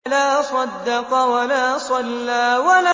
فَلَا صَدَّقَ وَلَا صَلَّىٰ